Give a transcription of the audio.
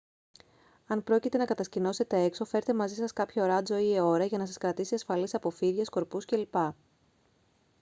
αν πρόκειται να κατασκηνώσετε έξω φέρτε μαζί σας κάποιο ράντσο ή αιώρα για να σας κρατήσει ασφαλείς από φίδια σκορπιούς κ.λπ